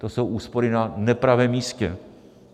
To jsou úspory na nepravém místě.